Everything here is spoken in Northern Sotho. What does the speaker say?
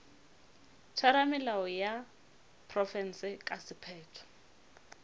theramelao ya profense ka sephetho